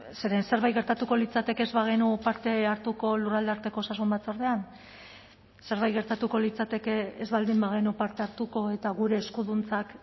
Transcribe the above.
zeren zerbait gertatuko litzateke ez bagenu parte hartuko lurraldearteko osasun batzordean zerbait gertatuko litzateke ez baldin bagenu parte hartuko eta gure eskuduntzak